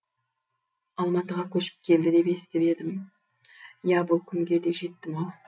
алматыға көшіп келді деп естіп едім иә бұл күнге де жеттім ау